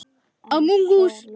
Ég man ekki nafnið.